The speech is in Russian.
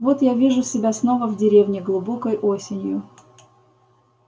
вот я вижу себя снова в деревне глубокой осенью